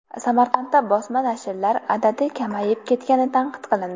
Samarqandda bosma nashrlar adadi kamayib ketgani tanqid qilindi.